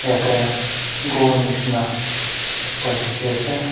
tai aa ghor nisna ekta dikhi ase.